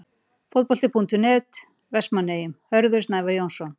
Fótbolti.net, Vestmannaeyjum- Hörður Snævar Jónsson.